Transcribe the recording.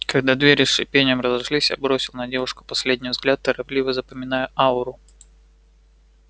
когда двери с шипением разошлись я бросил на девушку последний взгляд торопливо запоминая ауру